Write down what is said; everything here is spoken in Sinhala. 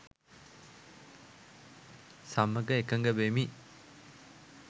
සමග එකග වෙමි